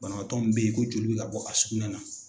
Banabaatɔ min bɛ ye ko joli bɛ ka bɔ a sugunɛ na.